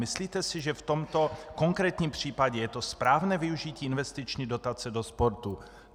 Myslíte si, že v tomto konkrétním případě je to správné využití investiční dotace do sportu?